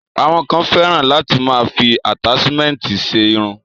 Àwọn kan fẹ́ràn láti máa fi àtáṣmẹ̀ntì ṣe irun.